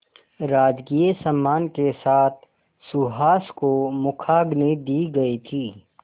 राजकीय सम्मान के साथ सुहास को मुखाग्नि दी गई थी